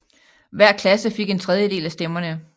Hver klasse fik en tredjedel af stemmerne